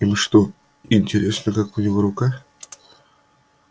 им что интересно как у него рука